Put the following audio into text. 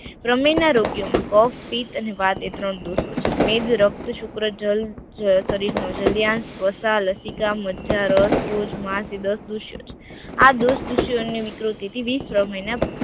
પ્રમેય ના રોગ માં કફ પિત્ત અને વાત ત્રણ દોષો છે મેધ, રક્ત, શુક્ર જલ જયસારિત નવ જલ્યાણ મસા, લસિકા, મજજા, રસ ઓઝ, માસ, દસ દુષ્ય, આ દસદુષ્ય વિકૃતિ વિષપ્રમેય ના